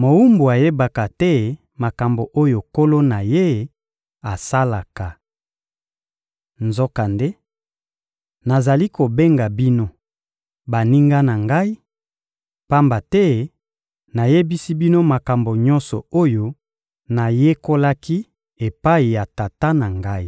mowumbu ayebaka te makambo oyo nkolo na ye asalaka. Nzokande, nazali kobenga bino «baninga na Ngai,» pamba te nayebisi bino makambo nyonso oyo nayekolaki epai ya Tata na Ngai.